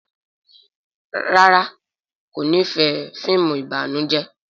ràrá kò n'ifẹ fíìmù ìbànújẹ.